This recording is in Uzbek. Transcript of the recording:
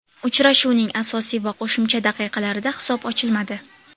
Uchrashuvning asosiy va qo‘shimcha daqiqalarida hisob ochilmadi.